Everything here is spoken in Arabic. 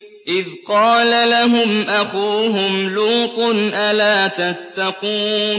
إِذْ قَالَ لَهُمْ أَخُوهُمْ لُوطٌ أَلَا تَتَّقُونَ